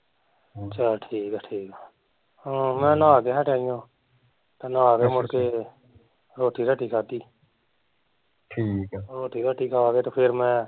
ਚੱਲ ਠੀਕ ਆ ਠੀਕ ਆ ਹਾਂ, ਮੈਂ ਨਾਹ ਕੇ ਹਟਿਆ ਉ ਤੇ ਨਾਹ ਕੇ ਮੁੜ ਕੇ ਰੋਟੀ ਰਾਟੀ ਖਾਦੀ ਰੋਟੀ ਰਾਟੀ ਖਾ ਕੇ ਤੇ ਫੇਰ ਮੈਂ